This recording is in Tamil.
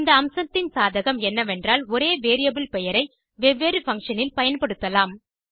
இந்த அம்சத்தின் சாதகம் என்னவென்றால் ஒரே வேரியபிள் பெயரை வெவ்வேறு பங்ஷன் இல் பயன்படுத்தலாம்